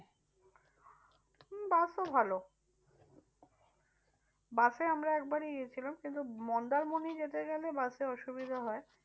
হম বাসও ভালো বাসে আমরা একবারই গিয়েছিলাম। কিন্তু মন্দারমণি যেতে গেলে বাসে অসুবিধা হয়।